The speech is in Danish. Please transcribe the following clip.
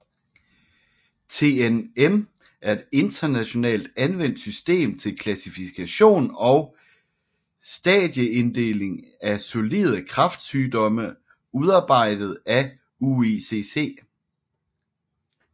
TNM er et internationalt anvendt system til klassifikation og stadieinddeling af solide kræftsygdomme udarbejdet af UICC